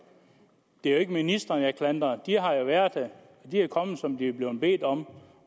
det er jo ikke ministrene jeg klandrer de har været her de er kommet her som de er blevet bedt om